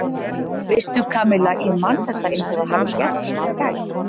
Veistu, Kamilla ég man þetta eins og það hefði gerst í gær.